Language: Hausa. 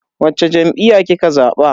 Wacce jam'iyya kika zaba?